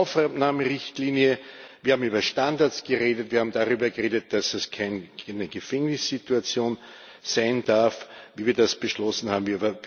Wir haben eine Aufnahmerichtlinie, wir haben über Standards geredet, wir haben darüber geredet, dass es keine Gefängnissituation sein darf, wie wir das beschlossen haben.